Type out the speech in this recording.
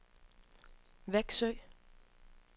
Vexjö